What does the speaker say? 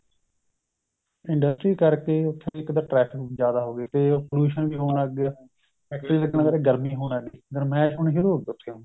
industry ਕਰਕੇ ਉੱਥੇ ਇੱਕ ਤਾਂ traffic ਜਿਆਦਾ ਹੋਗੀ ਤੇ pollution ਵੀ ਹੋਣ ਲੱਗ ਗਿਆ industry ਕਰਕੇ ਗਰਮੀ ਹੋਣ ਲੱਗ ਗਈ ਗਰਮੈਸ਼ ਹੋਣੀ ਸ਼ੁਰੂ ਹੋ ਗਈ ਉੱਥੇ ਹੁਣ